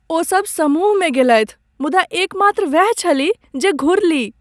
ओसभ समूहमे गेलथि मुदा एकमात्र वैह छलीह जे घुरलीह ।